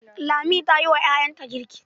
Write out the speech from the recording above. Lami ta yi wa ƴaƴanta girk.